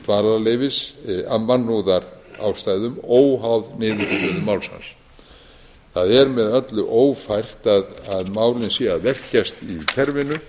dvalarleyfis af mannúðarástæðum óháð niðurstöðu máls hans það er með öllu ófært að málin séu að velkjast í kerfinu